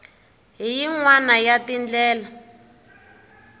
hi yin wana ya tindlela